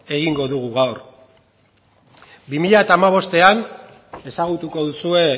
egingo dugu gaur bi mila hamabostean ezagutuko duzue